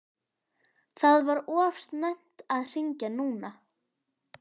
Það var of snemmt að hringja núna.